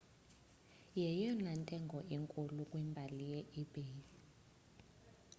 yeyona ntengo inkulu kwimbali ye-ebay